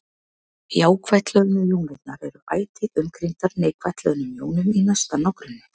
Jákvætt hlöðnu jónirnar eru ætíð umkringdar neikvætt hlöðnum jónum í næsta nágrenni.